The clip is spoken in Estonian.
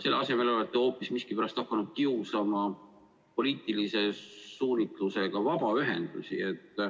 Selle asemel olete hoopis miskipärast hakanud kiusama poliitilise suunitlusega vabaühendusi.